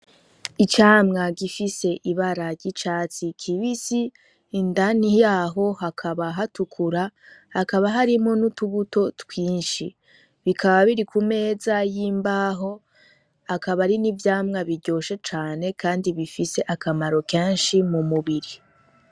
Icamwa gifise ibara ry'icatsi kibisi indani yaho hakaba hatukura hakaba harimwo n'utubuto twinshi bikaba biri ku meza y'imbaho akaba ari n'ivyamwa biryoshe cane kandi bifise akamaro kenshi mu mubiri.